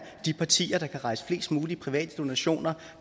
de partier der kan rejse flest mulige private donationer